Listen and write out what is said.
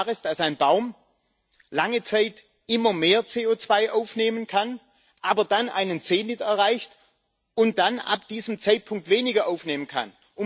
Denn ist es klar, dass ein Baum lange Zeit immer mehr CO2 aufnehmen kann, aber dann einen Zenit erreicht und dann ab diesem Zeitpunkt weniger aufnehmen kann.